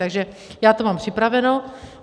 Takže já to mám připraveno.